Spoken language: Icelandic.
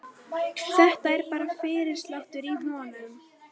Þetta er bara fyrirsláttur í honum.